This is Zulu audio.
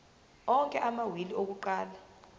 onke amawili akuqala